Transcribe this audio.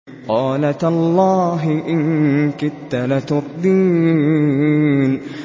قَالَ تَاللَّهِ إِن كِدتَّ لَتُرْدِينِ